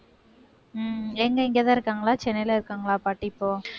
உம் எங்க இங்கதான் இருக்காங்களா சென்னையில இருக்காங்களா பாட்டி இப்போ